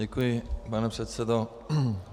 Děkuji, pane předsedo.